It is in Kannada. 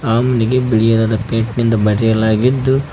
ಅಮ್ನಿಗೆ ಬಿಳಿಯದಾದ ಪೈಂಟ್ ನಿಂದ ಬರೆಯಲಾಗಿದ್ದು--